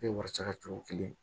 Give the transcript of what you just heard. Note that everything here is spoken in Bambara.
wari sara cogo kelen